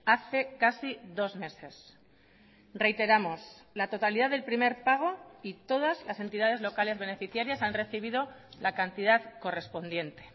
hace casi dos meses reiteramos la totalidad del primer pago y todas las entidades locales beneficiarias han recibido la cantidad correspondiente